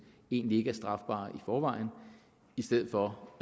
egentlig ikke er strafbare i forvejen i stedet for